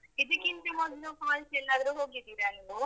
ಇದಕ್ಕಿಂತ ಮೊದ್ಲು falls ಎಲ್ಲಾದ್ರೂ ಹೋಗಿದ್ದೀರಾ ನೀವು?